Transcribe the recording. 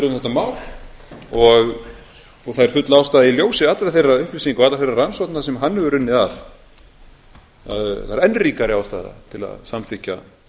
mál og það er full ástæða í ljósi allra þeirra upplýsinga og allra þeirra rannsókna sem hann hefur unnið að það er enn ríkari ástæða til að samþykkja